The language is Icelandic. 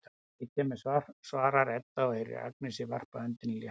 Ég kem með, svarar Edda og heyrir að Agnes varpar öndinni léttar.